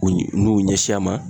N'u y'u ɲɛsin a ma